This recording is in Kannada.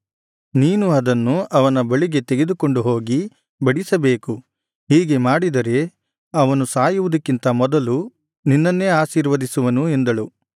ನೀನು ಅದನ್ನು ಅವನ ಬಳಿಗೆ ತೆಗೆದುಕೊಂಡು ಹೋಗಿ ಬಡಿಸಬೇಕು ಹೀಗೆ ಮಾಡಿದರೆ ಅವನು ಸಾಯುವುದಕ್ಕಿಂತ ಮೊದಲು ನಿನ್ನನ್ನೇ ಆಶೀರ್ವದಿಸುವನು ಎಂದಳು